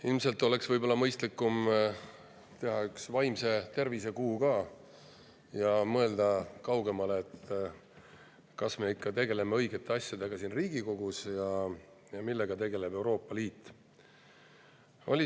Ilmselt võib-olla oleks mõistlik teha ka üks vaimse tervise kuu ja mõelda kaugemale, kas me ikka tegeleme õigete asjadega siin Riigikogus ja millega tegeleb Euroopa Liit.